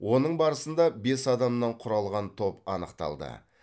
оның барысында бес адамнан құралған топ анықталды